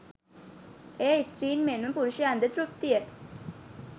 එය ස්ත්‍රීන් මෙන්ම පුරුෂයන්ද තෘප්තිය